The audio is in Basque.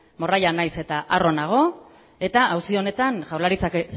morralla naiz eta arro nago eta auzi honetan jaurlaritzak